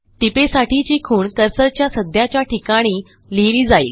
टीपेसाठीची खूण कर्सरच्या सध्याच्या ठिकाणी लिहिली जाईल